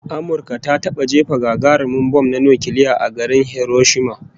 Amurka ta taba jefa gagarumin bam na nukiliya a garin Hiroshima